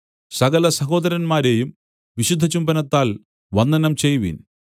സകലസഹോദരന്മാരെയും വിശുദ്ധചുംബനത്താൽ വന്ദനം ചെയ്‌വിൻ